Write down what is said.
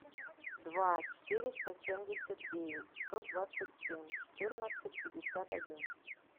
два четыреста семьдесят девять сто двадцать семь четырнадцать пятьдесят один